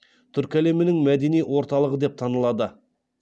түркі әлемінің мәдени орталығы деп танылды